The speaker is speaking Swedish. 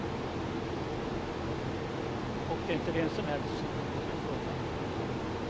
Och det är inte vem som helst som kan komma i fråga.